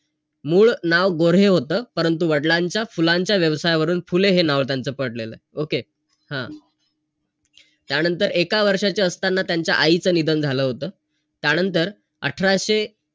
मग मी काय केलं मग पहिलं गाडीसाठी इकडे तिकडे मग नंतर मग काय नाय घेतलं नाय हे नाय मग मी तिथून कर्ज घेतलं आणि नाही का हे.